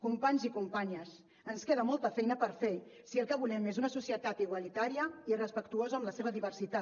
companys i companyes ens queda molta feina per fer si el que volem és una societat igualitària i respectuosa amb la seva diversitat